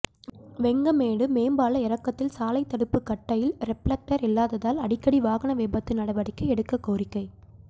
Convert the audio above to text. வெங்கமேடு மேம்பால இறக்கத்தில் சாலை தடுப்பு கட்டையில் ரிப்ளக்டர் இல்லாததால் அடிக்கடி வாகன விபத்து நடவடிக்கை எடுக்க கோரிக்கை